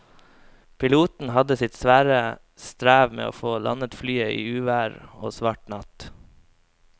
Piloten hadde sitt svare strev med å få landet flyet i uvær og svart natt.